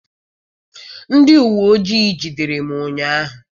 Ndị uweojii jidere m ụnyaahụ.